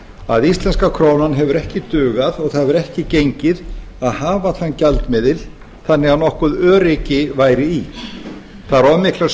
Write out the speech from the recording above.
að íslenska krónan hefur ekki dugað og það hefur ekki gengið að hafa þann gjaldmiðil þannig að nokkurt öryggi væri í það eru of miklar